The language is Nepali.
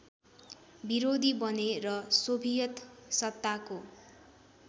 विरोधी बने र सोभियतसत्ताको